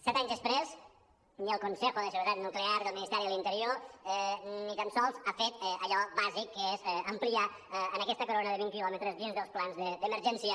set anys després el consejo de seguridad nuclear del ministeri de l’interior ni tan sols ha fet allò bàsic que és ampliar a aquesta corona de vint quilòmetres dins dels plans d’emergència